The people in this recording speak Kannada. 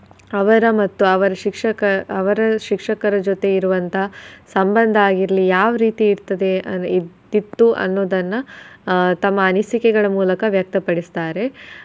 ಅವರ ಮತ್ತು ಅವರ ಶಿಕ್ಷಕ ಅವರ ಶಿಕ್ಷಕರ ಜೊತೆ ಇರುವಂತಹ ಸಂಬಂಧ ಆಗಿರ್ಲಿ ಯಾವ್ ರೀತಿ ಇರ್ತದೆ ಅದೆ ಇತ್ತು ಅನ್ನೋದನ್ನ ಆಹ್ ತಮ್ಮ ಅನಿಸಿಕೆಗಳ ಮೂಲಕ ವ್ಯಕ್ತಡಿಸ್ತಾರೆ.